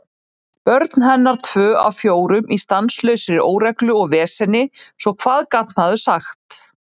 Börn hennar tvö af fjórum í stanslausri óreglu og veseni, svo hvað gat maður sagt?